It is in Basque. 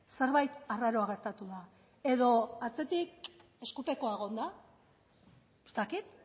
zerbait arraroa gertatu da edo atzetik eskupekoa egon da ez dakit